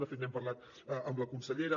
de fet n’hem parlat amb la consellera